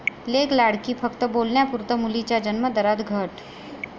लेक लाडकी' फक्त बोलण्यापुरतं, मुलींच्या जन्मदरात घट